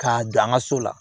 K'a dan an ka so la